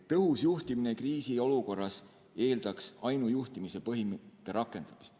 Tõhus juhtimine kriisiolukorras eeldaks ainujuhtimise põhimõtete rakendamist.